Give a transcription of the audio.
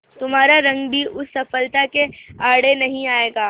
तुम्हारा रंग भी उस सफलता के आड़े नहीं आएगा